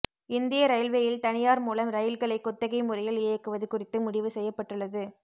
இந்திய ரயில்வேயில் தனியார் மூலம் ரயில்களை குத்தகை முறையில் இயக்குவது குறித்து முடிவு செய்யப்பட்டுள்ளது